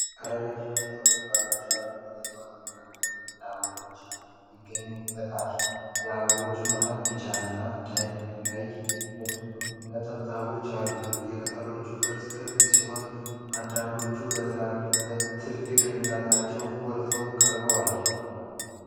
ረዣዥም ቅጠሎች ባሏቸው አረንጓዴ ዕፅዋት መካከል ነጭ አበባዎች ይገኙበታል። የአበባዎቹ መሃል ቢጫ እና ቀይ ነጠብጣቦች አሉት። የቅጠሎቹ ቅርፅ ክብ ሲሆን አንዳንዶቹ በትልቅነታቸው ጎልተው ቀርበዋል።